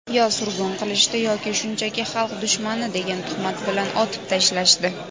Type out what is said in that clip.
yo surgun qilishdi yoki shunchaki "xalq dushmani" degan tuhmat bilan otib tashlashdi.